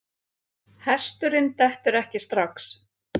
Hesturinn dettur ekki strax.